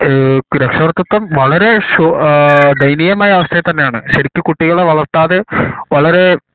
എഹ് രക്ഷാകർത്തിതം വളരെ ശ് ഏഹ് ദയനീയആഹ് മമായ അവസ്ഥയിൽ തന്നെ ആണ് ശെരിക്ക് കുട്ടികളെ വളർത്താതെ വളരെ